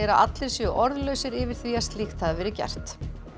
allir séu orðlausir yfir því að slíkt hafi verið gert